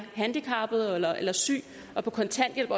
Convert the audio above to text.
handicappet eller eller syg og på kontanthjælp